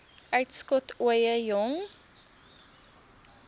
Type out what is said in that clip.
uitskot ooie jong